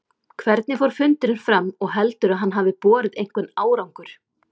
Hvernig fór fundurinn fram og heldurðu að hann hafi borið einhvern árangur?